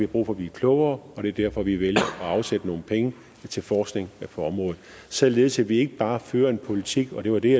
brug for blive klogere og det er derfor vi vælger at afsætte nogle penge til forskning på området således at vi ikke bare fører en politik og det var det